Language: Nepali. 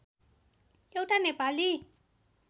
एउटा नेपाली